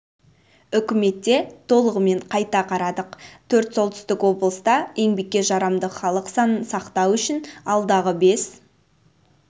үкіметте толығымен қайта қарадық төрт солтүстік облыста еңбекке жарамды халық санын сақтау үшін алдағы бес